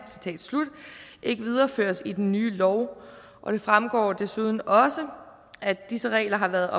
ikke videreføres i den nye lov og det fremgår desuden at disse regler har været